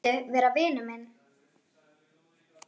Vilt þú vera vinur minn?